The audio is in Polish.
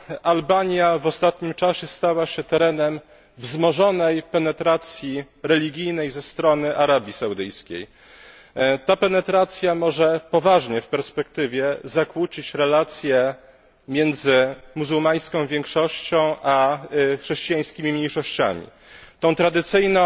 Albania w ostatnim czasie stała się terenem wzmożonej penetracji religijnej ze strony Arabii Saudyjskiej. Ta penetracja może w dłuższej perspektywie poważnie zakłócić relacje między muzułmańską większością a chrześcijańskimi mniejszościami tę tradycyjną